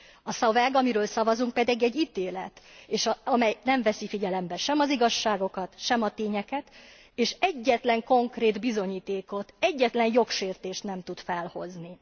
A szöveg, amiről szavazunk pedig egy ítélet, amely nem veszi figyelembe sem az igazságokat, sem a tényeket, és egyetlen konkrét bizonyítékot, egyetlen jogsértést nem tud felhozni.